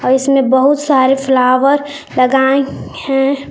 और इसमें बहुत सारे फ्लावर लगाएं हैं।